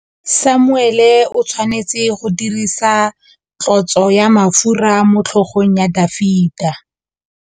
Samuele o tshwanetse go dirisa tlotsô ya mafura motlhôgong ya Dafita.